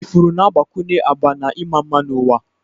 Ifuru na-agbakwunye agba na ịma mma n'ụwa.